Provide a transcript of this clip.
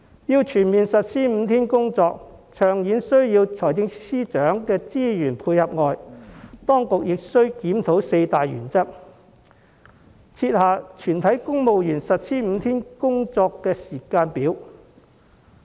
要全面實施5天工作，長遠而言除了需要財政司司長的資源配合外，當局亦須檢討四大原則，設下全體公務員實施5天工作周的時間表。